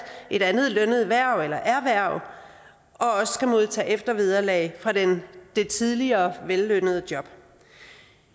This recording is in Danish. et andet lønnet hverv eller erhverv og også skal modtage eftervederlag fra det det tidligere vellønnede job